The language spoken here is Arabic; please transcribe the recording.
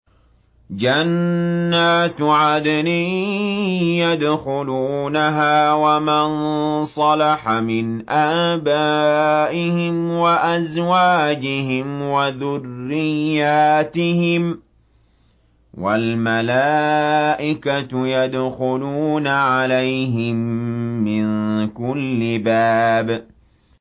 جَنَّاتُ عَدْنٍ يَدْخُلُونَهَا وَمَن صَلَحَ مِنْ آبَائِهِمْ وَأَزْوَاجِهِمْ وَذُرِّيَّاتِهِمْ ۖ وَالْمَلَائِكَةُ يَدْخُلُونَ عَلَيْهِم مِّن كُلِّ بَابٍ